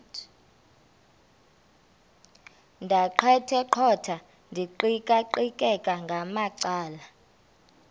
ndaqetheqotha ndiqikaqikeka ngamacala